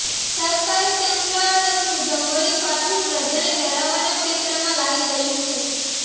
સરકારી તંત્ર આદત મુજબ વળી પાછું પ્રજાને ડરાવવાના પેંતરામાં લાગી ગયું છે